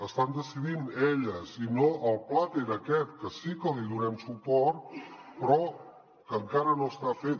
estan decidint elles i no el plater aquest que sí que li donem suport però que encara no està fet